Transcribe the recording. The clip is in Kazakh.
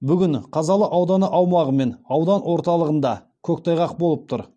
бүгін қазалы ауданы аумағы мен аудан орталығында көктайғақ болып тұр